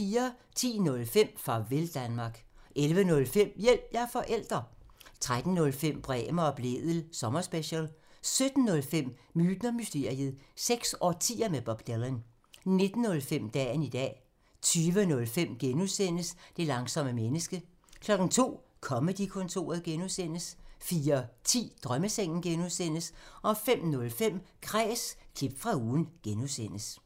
10:05: Farvel Danmark 11:05: Hjælp – jeg er forælder! 13:05: Bremer og Blædel sommerspecial 17:05: Myten og mysteriet – seks årtier med Bob Dylan 19:05: Dagen i dag 20:05: Det langsomme menneske (G) 02:00: Comedy-kontoret (G) 04:10: Drømmesengen (G) 05:05: Kræs – klip fra ugen (G)